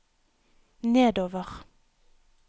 nedover